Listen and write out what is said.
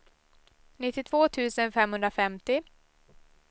nittiotvå tusen femhundrafemtio